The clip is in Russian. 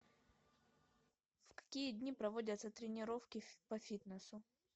в какие дни проводятся тренировки по фитнесу